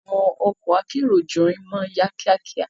Awon oko akero juirin maa n ya kia kia